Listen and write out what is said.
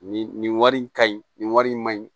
Nin nin wari in ka ɲi nin wari in ma ɲi